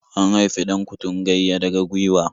An haifi 'Dan-kutungayya daga gwiwa.